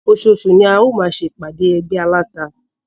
Oṣooṣù ni a ó máa ṣe ìpàdé ẹgbẹ́ aláta.